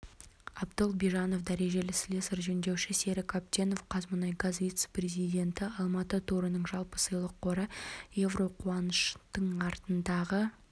абдол бижанов дәрежелі слесарь-жөндеуші серік әбденов қазмұнайгаз вице-президенті алматы турының жалпы сыйлық қоры еуро қуаныштың артындағы